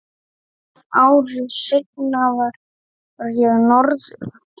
Ári seinna fór ég norður.